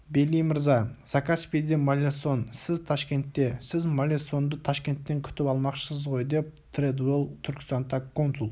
бейли мырза закаспийде маллесон сіз ташкентте сіз маллесонды ташкенттен күтіп алмақшысыз ғой деп тредуэлл түркістанта консул